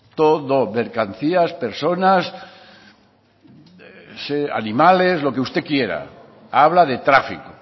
mercancías personas animales lo que usted quiera habla de tráfico